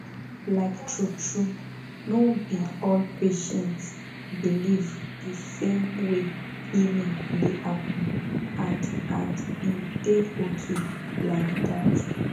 like truetrue no be all patients believe the same way healing dey happen and and e dey okay like that